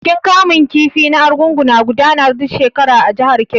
Bikin kamun kifi na Argungu na gudana duk shekara a jihar Kebbi.